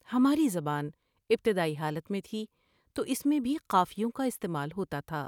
ہماری زبان ابتدائی حالت میں تھی تو اس میں بھی قافیوں کا استعمال ہوتا تھا ۔